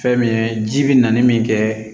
Fɛn min ye ji bi nali min kɛ